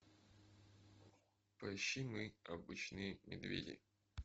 поищи мы обычные медведи